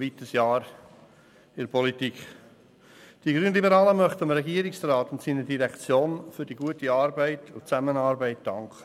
Die Grünliberalen möchten dem Regierungsrat und seiner Direktion für die gute Arbeit und Zusammenarbeit danken.